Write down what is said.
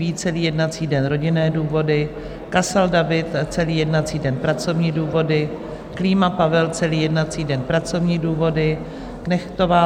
Vít celý jednací den - rodinné důvody, Kasal David celý jednací den - pracovní důvody, Klíma Pavel celý jednací den - pracovní důvody, Knechtová